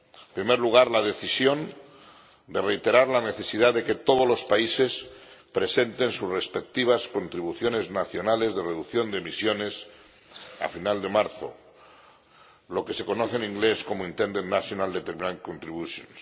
En primer lugar, la decisión de reiterar la necesidad de que todos los países presenten sus respectivas contribuciones nacionales de reducción de emisiones a final de marzo, lo que se conoce en inglés como intended nationally determined contributions